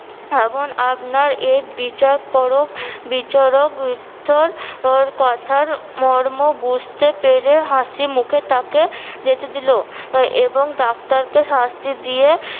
এবং আপনার এ বিচার পরোখ বিচরকধর কথার মর্ম বুঝতে পেরে হাসি মুখে তাকে যেতে দিলো এবং ডাক্তারকে শাস্তি দিয়ে